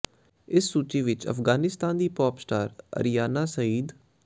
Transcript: ਇਸ ਸੂਚੀ ਵਿੱਚ ਅਫਗਾਨਿਸਤਾਨ ਦੀ ਪੌਪ ਸਟਾਰ ਆਰੀਆਨਾ ਸਈਦ